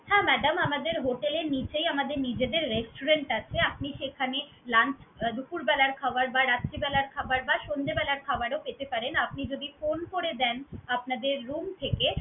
হ্যাঁ madam আমাদের hotel এর নিচেই আমাদের নিজেদের restaurant আছে আপনি সেখানে lunch দুপুর বেলার খাবার বা রাত্রি বেলার খাবার বা সন্ধ্যে বেলার খাবারও খেতে পারেন। আপনি যদি phone করে দেন, আপনাদের room থেকে